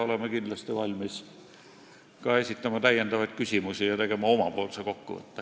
Oleme kindlasti valmis esitama ka täiendavaid küsimusi ja tegema omapoolse kokkuvõtte.